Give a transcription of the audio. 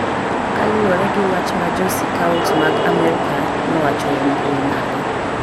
Kaluwore gi wach ma Jo Sikaot mag Amerka nowacho e mbui margi,